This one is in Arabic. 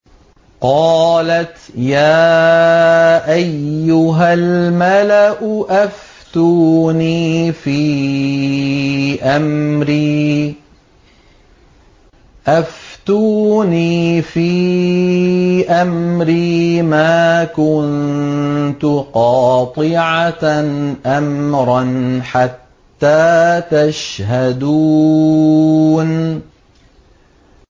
قَالَتْ يَا أَيُّهَا الْمَلَأُ أَفْتُونِي فِي أَمْرِي مَا كُنتُ قَاطِعَةً أَمْرًا حَتَّىٰ تَشْهَدُونِ